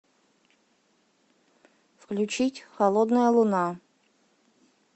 включить холодная луна